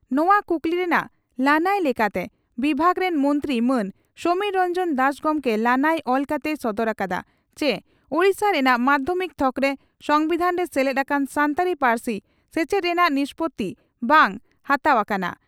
ᱱᱚᱣᱟ ᱠᱩᱠᱞᱤ ᱨᱮᱱᱟᱜ ᱞᱟᱹᱱᱟᱹᱭ ᱞᱮᱠᱟᱛᱮ ᱵᱤᱵᱷᱟᱜᱽ ᱨᱤᱱ ᱢᱚᱱᱛᱨᱤ ᱢᱟᱱ ᱥᱚᱢᱤᱨ ᱨᱚᱱᱡᱚᱱ ᱫᱟᱥ ᱜᱚᱢᱠᱮ ᱞᱟᱹᱱᱟᱹᱭ ᱚᱞ ᱠᱟᱛᱮᱭ ᱥᱚᱫᱚᱨ ᱟᱠᱟᱫᱟ ᱪᱤ ᱳᱰᱤᱥᱟ ᱨᱮᱱᱟᱜ ᱢᱟᱫᱷᱭᱚᱢᱤᱠ ᱛᱷᱚᱠᱨᱮ ᱥᱚᱢᱵᱤᱫᱷᱟᱱ ᱨᱮ ᱥᱮᱞᱮᱫ ᱟᱠᱟᱱ ᱥᱟᱱᱛᱟᱲᱤ ᱯᱟᱹᱨᱥᱤ ᱥᱮᱪᱮᱫ ᱨᱮᱱᱟᱜ ᱱᱤᱥᱯᱳᱛᱤ ᱵᱟᱝ ᱦᱟᱛᱟᱣ ᱟᱠᱟᱱᱟ ᱾